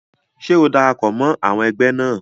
Ṣé o darapọ̀ mọ́ àwọn ẹgbẹ́ náà?